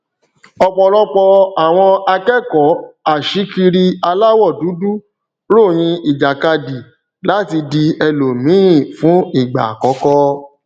ọpọlọpọ àwọn akẹkọọ aṣíkiri aláwọ dúdú ròyìn ìjàkadì láti di ẹlòmíí fún ìgbà àkọkọ